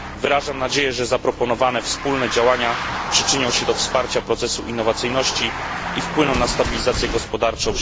Mam nadzieję, że zaproponowane wspólne działania przyczynią się do wsparcia procesu innowacyjności i wpłyną na stabilizację gospodarczą.